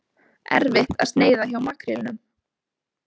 Erfitt að sneiða hjá makrílnum